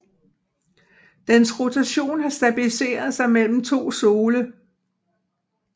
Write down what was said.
Dens rotation har stabiliseret sig mellem to sole